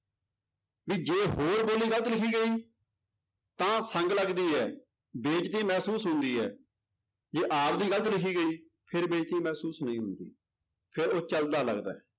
ਵੀ ਜੇ ਹੋਰ ਬੋਲੀ ਗ਼ਲਤ ਲਿਖੀ ਗਈ ਤਾਂ ਸੰਗ ਲੱਗਦੀ ਹੈ, ਬੇਇਜਤੀ ਮਹਿਸੂਸ ਹੁੰਦੀ ਹੈ, ਜੇ ਆਪਦੀ ਗ਼ਲਤ ਲਿਖੀ ਗਈ ਫਿਰ ਬੇਇਜਤੀ ਮਹਿਸੂਸ ਨਹੀਂ ਹੁੰਦੀ, ਫਿਰ ਉਹ ਚੱਲਦਾ ਲੱਗਦਾ ਹੈ।